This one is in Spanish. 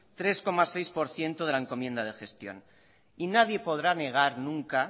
tres coma seis por ciento de la encomienda de gestión y nadie podrá negar nunca